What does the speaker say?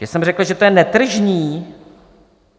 Že jsem řekl, že to je netržní?